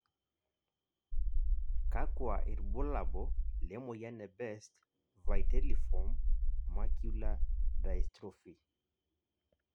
kakua irbulabo le moyian e Best vitelliform macular dystrophy ?